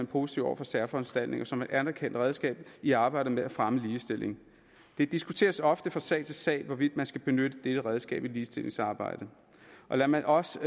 positiv over for særforanstaltninger som et anerkendt redskab i arbejdet med at fremme ligestilling det diskuteres ofte fra sag til sag hvorvidt man skal benytte dette redskab i ligestillingsarbejdet lad mig også